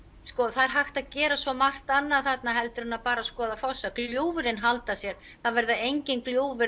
það er hægt að gera svo margt annað þarna en bara skoða fossa gljúfrin halda sér það verða engin gljúfur